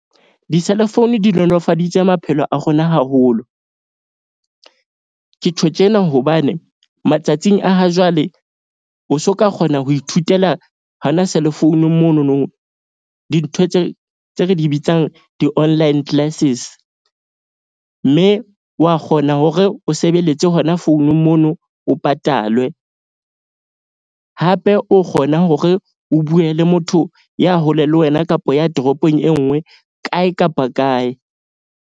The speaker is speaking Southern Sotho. Diselefounu di nolofaditse maphelo a rona haholo. Ke tjho tjena hobane matsatsing a ha jwale o so ka kgona ho ithutela hona cellphone-ung mono no. Dintho tse re di bitsang, di online classes. Mme wa kgona hore o sebeletse hona founung mono, o patalwe hape o kgona hore o bue le motho ya hole le wena kapo ya toropong e nngwe kae kapa kae.